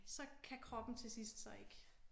Så kan kroppen til sidst så ikke